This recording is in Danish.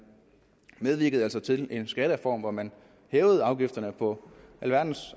medvirkede altså til en skattereform hvor man hævede afgifterne på alverdens